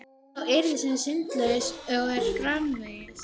Sá yðar sem syndlaus er og svo framvegis.